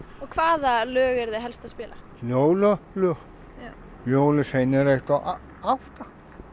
og hvaða lög eruð þið helst að spila jólalög jólasveina einn og átta